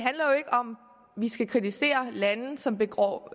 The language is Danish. vi ikke skal kritisere lande som begår